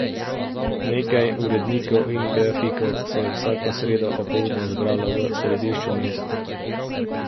Nekaj urednikov in grafikov se je vsako sredo opoldne zbralo v središču mesta.